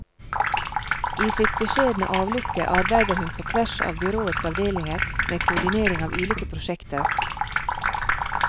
I sitt beskjedne avlukke arbeider hun på tvers av byråets avdelinger med koordinering av ulike prosjekter.